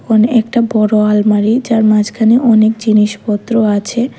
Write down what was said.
ওখানে একটা বড় আলমারি যার মাঝখানে অনেক জিনিসপত্র আছে।